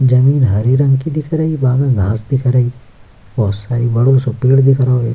जमीन हरे रंग की दिख रही बाहर गास दिख रही बहुत सारी बड़ों से पेड़ दिख रहो हैं।